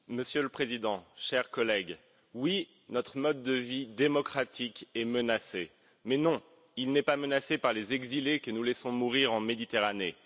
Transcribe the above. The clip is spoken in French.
Monsieur le Président, chers collègues, oui, notre mode de vie démocratique est menacé, mais non, il n'est pas menacé par les exilés que nous laissons mourir en Méditerranée.